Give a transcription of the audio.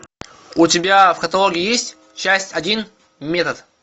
у тебя в каталоге есть часть один метод